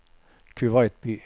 Kuwait by